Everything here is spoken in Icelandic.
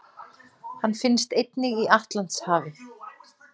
Hann finnst einnig í Atlantshafi.